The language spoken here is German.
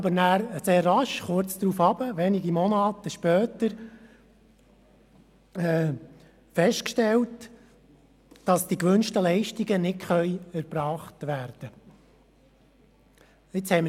Sehr rasch danach wurde wenige Monate später festgestellt, dass die gewünschten Leistungen nicht erbracht werden können.